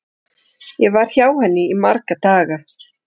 Ég var hjá henni í marga daga.